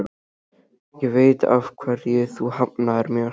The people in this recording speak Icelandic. Ég veit af hverju þú hafnaðir mér.